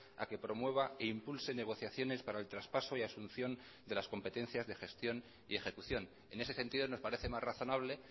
a que promueva e impulse negociaciones para el traspaso y asunción de las competencias de gestión y ejecución en ese sentido nos parece más razonable